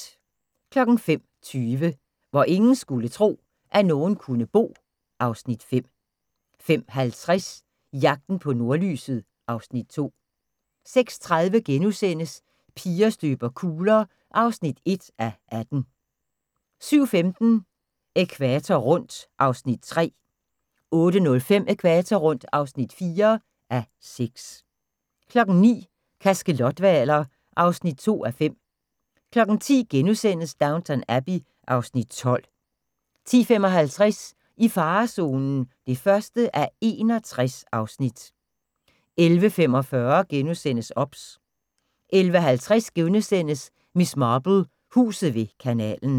05:20: Hvor ingen skulle tro, at nogen kunne bo (Afs. 5) 05:50: Jagten på nordlyset (Afs. 2) 06:30: Piger støber kugler (1:18)* 07:15: Ækvator rundt (3:6) 08:05: Ækvator rundt (4:6) 09:00: Kaskelothvaler (2:5) 10:00: Downton Abbey (Afs. 12)* 10:55: I farezonen (1:61) 11:45: OBS * 11:50: Miss Marple: Huset ved kanalen *